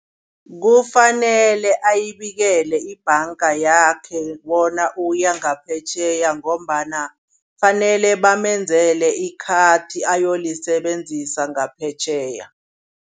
Kufanele ayibikele ibhanga yakhe bona uya ngaphetjheya ngombana kufanele bamenzele ikhathi ayolisebenzisa ngaphetjheya.